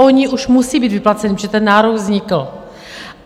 Ony už musí být vyplaceny, protože ten nárok vznikl.